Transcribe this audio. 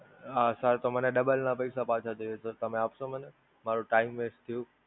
આ Sir, તો મને Double નાં પૈસા પાછાં દેસે, તમે અપસો મને? મારો Time West done!